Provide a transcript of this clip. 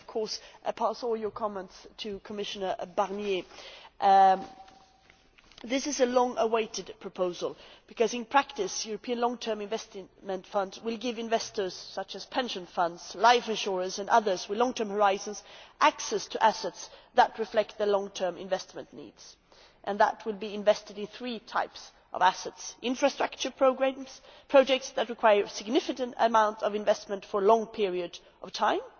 I will of course pass all their comments to Commissioner Barnier. This is a long awaited proposal because, in practice, European long term investment funds will give investors such as pension funds, life insurers and others with long term horizons access to assets that reflect the long term investment needs and that will be invested in three types of assets infrastructure programmes, projects that require a significant amount of investment for a long period of time,